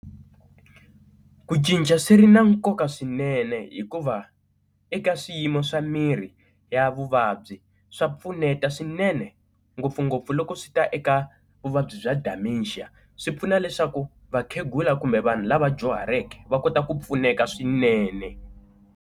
Ku cinca swi ri na nkoka swinene hikuva eka swiyimo swa mirhi ya vuvabyi swa pfuneta swinene ngopfungopfu loko swi ta eka vuvabyi bya dementia, swi pfuna leswaku vakhegula kumbe vanhu lava dyuhaleke va kota ku pfuneka swinene.